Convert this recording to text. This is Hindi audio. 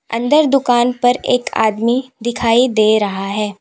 अंदर दुकान पर एक आदमी दिखाई दे रहा है।